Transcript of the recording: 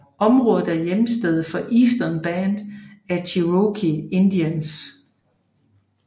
Området er hjemsted for Eastern Band of Cherokee Indians